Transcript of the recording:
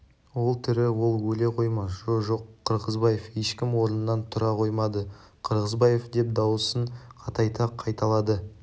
ол тірі ол өле қоймас жо-жоқ қырғызбаев ешкім орнынан тұра қоймады қырғызбаев деп дауысын қатайта қайталады